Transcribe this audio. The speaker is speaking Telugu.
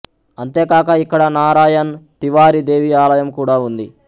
అంతేకాక ఇక్కడ నారాయణ్ తివారి దేవి ఆలయం కూడా ఉంది